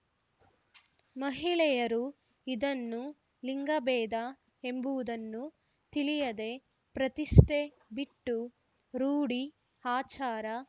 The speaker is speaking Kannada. ಮಹಿಳೆಯರು ಇದನ್ನು ಲಿಂಗಭೇದ ಎಂಬುದನ್ನು ತಿಳಿಯದೆ ಪ್ರತಿಷ್ಠೆ ಬಿಟ್ಟು ರೂಢಿ ಅಚಾರ